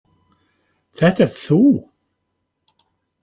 Þetta ert þú!